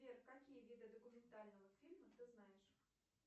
сбер какие виды документального фильма ты знаешь